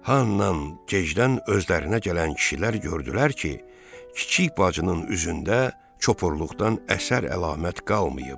Ha nandan gecdən özlərinə gələn kişilər gördülər ki, Kiçik bacının üzündə çopurluqdan əsər-əlamət qalmayıb.